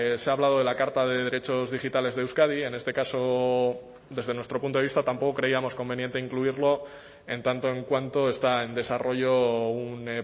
se ha hablado de la carta de derechos digitales de euskadi en este caso desde nuestro punto de vista tampoco creíamos conveniente incluirlo en tanto en cuanto está en desarrollo un